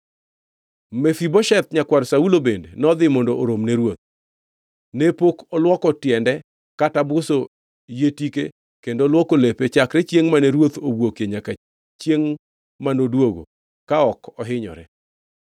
Mefibosheth, nyakwar Saulo bende nodhi mondo orom ne ruoth. Ne pok olwoko tiende kata buso yie tike kendo luoko lepe chakre chiengʼ mane ruoth owuokie nyaka chiengʼ manoduogo ka ok ohinyore.